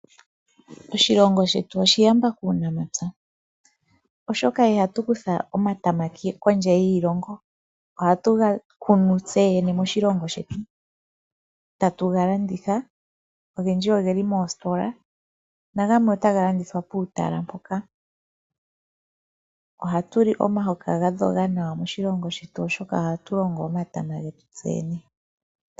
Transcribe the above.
Oshilongo shetu oshiyamba kuunamapya oshoka ihatu kutha omatama kondje yiilongo ohatu gakunu tseyene moshilungo shetu tatu galanditha. Ogendji ogeli moositola nagamwe ota galandithwa puutala mpoka. Oha tuli omahoka gadhoga nawa oshoka ohatu longo omatama getu tseyene.